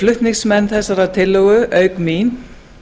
flutningsmenn þessarar tillögu auk mín